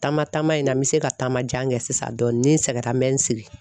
Taama taama in na n bɛ se ka taama jan kɛ sisan dɔɔni ni n sɛgɛra n me n sigi